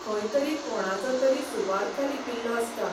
खंय तरी कोणाचो तरी सुवार्थ लिपिल्लो आसता.